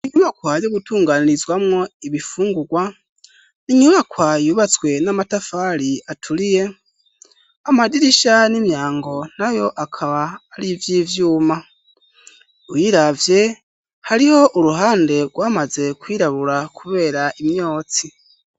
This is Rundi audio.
Inyubakwa yo gutunganirizwamwo ibifungurwa n'inyubakwa yubatswe n'amatafari aturiye, amadirisha n'imyango nayo akaba ar'ivy'ivyuma. Ubiravye hariho uruhande rwamaze kwirabura kubera imyotsi.